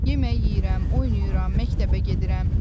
Yemək yeyirəm, oynayıram, məktəbə gedirəm.